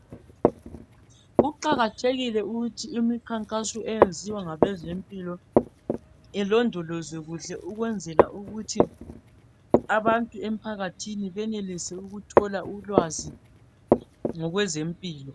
Kuqakathekile ukuthi imikhankaso eyenziwa ngabezempilo ilondolweze kuhle ukwenzela ukuthi abantu emphakathini benelise ukuthola ulwazi kwezempilo